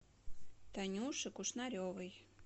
танюши кушнаревой